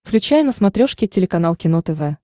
включай на смотрешке телеканал кино тв